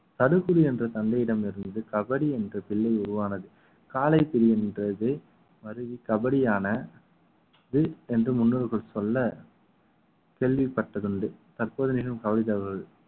தடுப்பு என்ற தந்தையிடம் இருந்து கபடி என்ற பிள்ளை உருவானது காளை பிரிகின்றது வருகை கபடியானது என்று முன்னோர்கள் சொல்ல கேள்விப்பட்டது உண்டு தற்போதிலும்